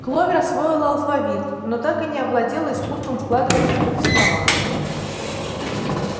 кловер освоила алфавит но так и не овладела искусством складывать из букв слова